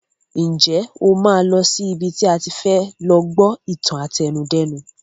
Ǹjẹ́ o máa lọ sí ibi tí a ti fẹ lọ gbọ́ ìtàn àtẹnudẹ́nu?